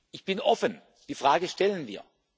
geben? Ich bin offen, die Frage stellen